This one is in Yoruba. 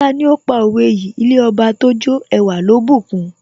Tani ó pa òwe yìí " ilé Ọba tójó ẹwà ló bùkun?